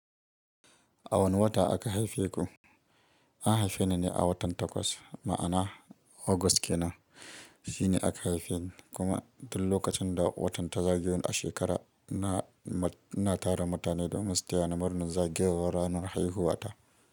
A wane wata aka haife ku? An haife ni ne a watan Takwas, ma'ana August kenan. Shi ne aka haife ni. Kuma duk lokacin da watan ta zagayo a shekara, na ina tara mutane domin su tayina murnar zagayewar ranar haihuwa ta.